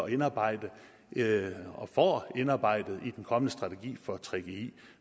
at indarbejde og får indarbejdet i den kommende strategi for gggi